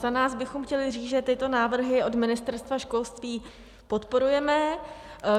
Za nás bychom chtěli říct, že tyto návrhy od Ministerstva školství podporujeme.